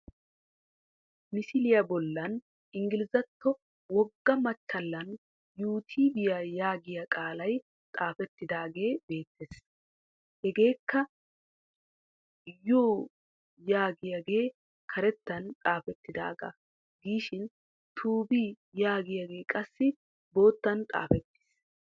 Misiliya bollan inggilizetto wogga machchallan yuutuubiya yaagiya qaalay xaafettidaagee beettees Hageekka yuu yagiyagee karettan xaafettidaagaa giishin tuubi yagiyagee qassi boottan xaafettiis